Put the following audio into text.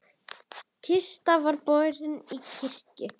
Kista var borin í kirkju.